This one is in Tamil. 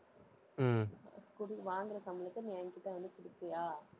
குடு~ வாங்குற சம்பளத்தை நீ என்கிட்ட வந்து குடுப்பியா?